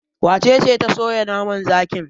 Wace ce ta soya naman zakin?